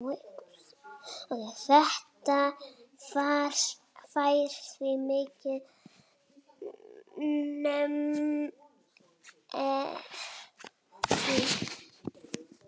Þetta fær því mikinn meðbyr.